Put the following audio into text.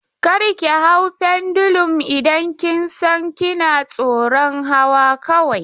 Kar ki hau pendulum idan kin san kina tsoron hawa kawai!